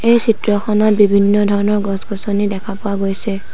এই চিত্ৰখনত বিভিন্ন ধৰণৰ গছ-গছনি দেখা পোৱা গৈছে।